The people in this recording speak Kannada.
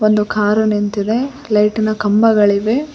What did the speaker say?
ಒಂದು ಕಾರು ನಿಂತಿದೆ ಲೈಟಿ ನ ಕಂಬಗಳಿವೆ.